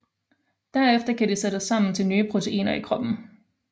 Derefter kan de sættes sammen til nye proteiner i kroppen